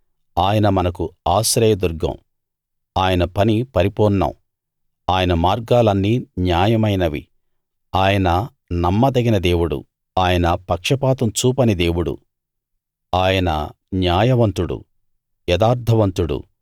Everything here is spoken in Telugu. ఆయన మనకు ఆశ్రయ దుర్గం ఆయన పని పరిపూర్ణం ఆయన మార్గాలన్నీ న్యాయమైనవి ఆయన నమ్మదగిన దేవుడు ఆయన పక్షపాతం చూపని దేవుడు ఆయన న్యాయవంతుడు యథార్థవంతుడు